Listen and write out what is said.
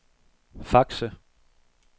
Fakse